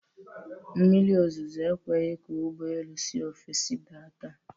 Mmiri ozuzo ekweghi ka ụgbọelu si ofesii da taa.